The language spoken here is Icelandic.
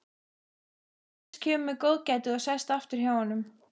Agnes kemur með góðgætið og sest aftur hjá honum.